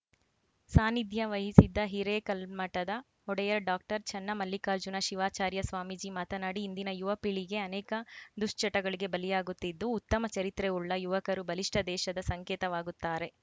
ಸಾನ್ನಿಧ್ಯ ವಹಿಸಿದ್ದ ಹಿರೇಕಲ್ಮಠದ ಒಡೆಯರ್‌ ಡಾಕ್ಟರ್ ಚನ್ನಮಲ್ಲಿಕಾರ್ಜುನ ಶಿವಾಚಾರ್ಯ ಸ್ವಾಮೀಜಿ ಮಾತನಾಡಿ ಇಂದಿನ ಯುವ ಪೀಳಿಗೆ ಅನೇಕ ದುಶ್ಚಟಗಳಿಗೆ ಬಲಿಯಾಗುತ್ತಿದ್ದು ಉತ್ತಮ ಚರಿತ್ರೆವುಳ್ಳ ಯುವಕರು ಬಲಿಷ್ಠ ದೇಶದ ಸಂಕೇತವಾಗುತ್ತಾರೆ